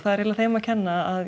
eiginlega þeim að kenna að